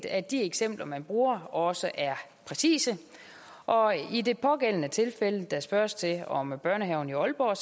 at de eksempler man bruger også er præcise og i det pågældende tilfælde der spørges til om børnehaven i aalborg har